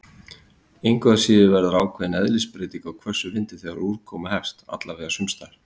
Engu að síður verður ákveðin eðlisbreyting á hvössum vindi þegar úrkoma hefst- alla vega sumstaðar.